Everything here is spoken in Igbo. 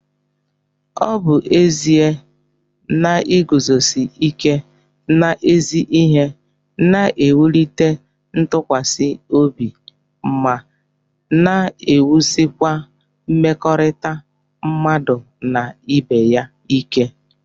Ọ bụ ezie na iguzosi ike n'ezi ihe na-ewulite ntụkwasị obi má n'ewusikwa mmekọrịta mmadụ na ibeya ìkè